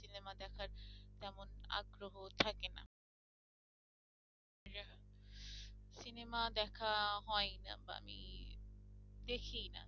cinema দেখা হয় না বা আমি দেখিনা